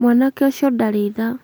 Mwanake ũcio ndarĩ tha